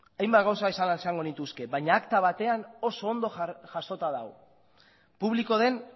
hainbat gauza esango nituzke baina akta batean oso ondo jasota dago publiko den